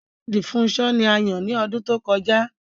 Rẹ́vẹ́rẹ̀ndì Fúnṣọ̀ ní à yàn ní ọdún tó kọja.